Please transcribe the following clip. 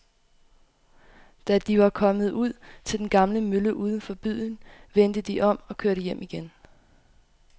Da de var kommet ud til den gamle mølle uden for byen, vendte de om og kørte hjem igen.